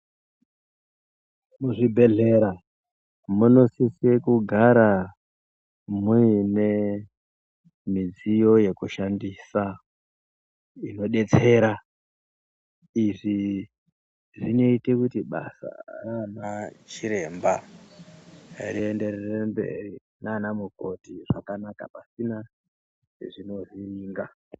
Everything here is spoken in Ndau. Muzvibhedhlera munosise kugara muine midziyo yekushandisa inodetsera . Izvi zvinoite kuti basa raana chiremba rienderere mberi naana mukoti zvakanaka pasina zvinovhiringa.